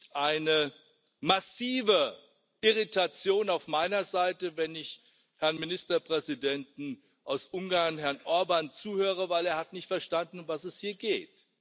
Es gibt eine massive Irritation auf meiner Seite, wenn ich dem Ministerpräsidenten Ungarns, Herrn Orbán, zuhöre, denn er hat nicht verstanden, um was es hier geht.